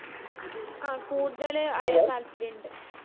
ആഹ് കൂടുതല് അറിയാൻ താത്പര്യം ഇണ്ട്